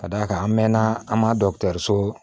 Ka d'a kan an mɛɛnna an ma dɔkitɛriso